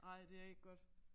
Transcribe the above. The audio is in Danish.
Nej det er ikke godt